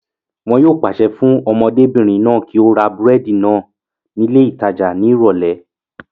Wọn yóò pàṣẹ fún ọmọdébìrin náà kí ó ra búrẹ́dì náà ní ilé ìtajà náà